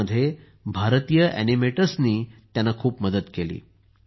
यामध्ये भारतीय ऍनिमेटर्सनीही त्यांना खूप मदत केली